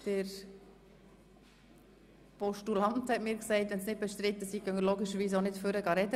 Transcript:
Der Postulant hat mir gesagt, wenn es nicht bestritten werde, werde er sich logischerweise auch nicht mehr dazu äussern.